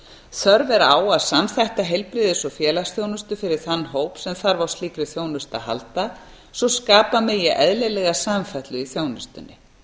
þörf er á að samþætta heilbrigðis og félagsþjónustu fyrir þann hóp sem þarf á slíkri þjónustu að halda svo skapa megi eðlilega samfellu í þjónustunni